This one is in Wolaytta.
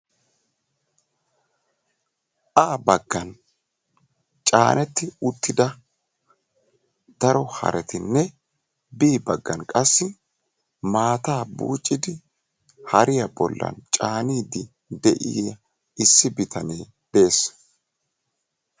A baggan chaaneeti uttida daro harettinne b baggan qassi maataa buuccidi hariya bolli caaniidi de'iya issi bitane de'ees.